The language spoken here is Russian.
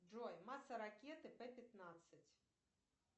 джой масса ракеты п пятнадцать